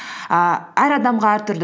ііі әр адамға әртүрлі